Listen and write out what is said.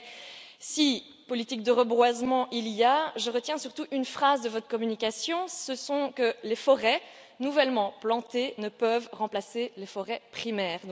Mais, si politique de reboisement il y a, je retiens surtout une phrase de votre communication les forêts nouvellement plantées ne peuvent remplacer les forêts primaires.